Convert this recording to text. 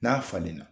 N'a falenna